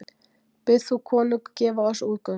Bið þú konung gefa oss útgöngu.